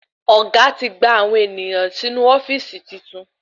Ọ̀gá ti gbà àwọn ènìyàn sì inú ofíìsì tuntun